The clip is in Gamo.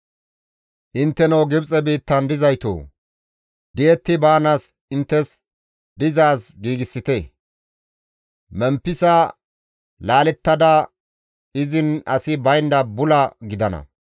Intteno Gibxe biittan dizaytoo! Di7etti baanaas inttes dizaaz giigsite; Memppisa laallettada izin asi baynda bula gidana.